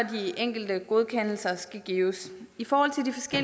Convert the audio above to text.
de enkelte godkendelser skal gives